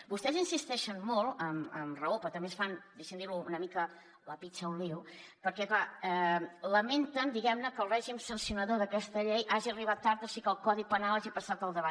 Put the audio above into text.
vostès insisteixen molt amb raó però també es fan deixi’m dir ho una mica la picha un lío perquè clar lamenten diguem ne que el règim sancionador d’aquesta llei hagi arribat tard o sigui que el codi penal hagi passat al davant